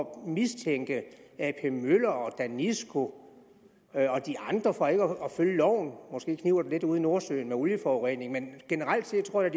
mistænke ap møller og danisco og de andre for ikke at følge loven måske kniber det lidt ude i nordsøen med olieforurening men generelt set tror jeg